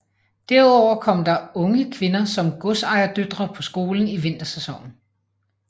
Derudover kom der unge kvinder som godsejerdøtre på skolen i vintersæsonen